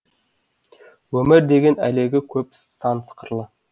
өмір деген әлегі көп сан қырлы